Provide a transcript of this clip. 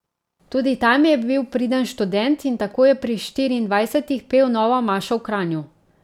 Tudi tam je bil priden študent in tako je pri štiriindvajsetih pel novo mašo v Kranju.